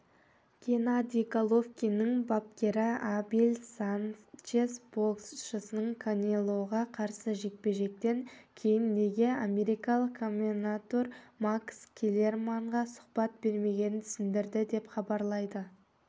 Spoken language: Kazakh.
геннадий головкиннің бапкері абель санчес боксшының канелоға қарсы жекпе-жектен кейін неге америкалық комментатор макс келлерманға сұхбат бермегенін түсіндірді деп хабарлайды